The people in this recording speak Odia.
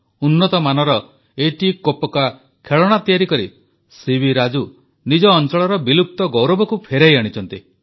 ଉନ୍ନତ ମାନର ଏତିକୋପ୍ପକା ଖେଳଣା ତିଆରି କରି ସିବି ରାଜୁ ନିଜ ଅଂଚଳର ବିଲୁପ୍ତ ଗୌରବକୁ ଫେରାଇ ଆଣିଛନ୍ତି